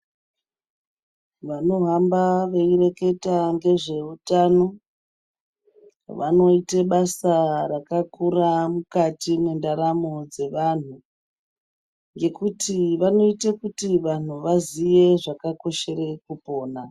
Vanohamba veireketa ngezveutano vanoite basa rakakura mukati mendaramo dzevanhu ngekuti vanoita kuti vanhu vaziye zvakakoshera kupona.